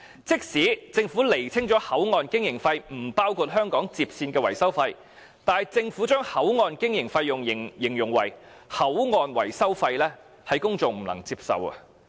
即使政府釐清口岸經營費不包括香港接線的維修費，但政府將口岸經營費用形容為口岸維修費，是公眾不能夠接受的。